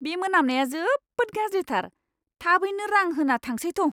बे मोनामनाया जोबोद गाज्रिथार! थाबैनो रां होना थांसै थौ।